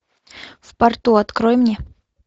в порту открой мне